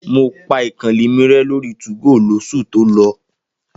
Mo pa ìkànnlé mi rẹ lórí 2go lósù tó lọ.